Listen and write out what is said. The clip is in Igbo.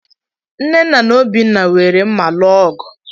Nnenna na Obinna were mma lụọ ọgụ.